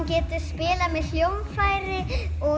getur spilað með hljóðfæri